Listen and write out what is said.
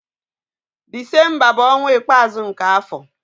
Disemba bụ ọnwa ikpeazụ nke afọ.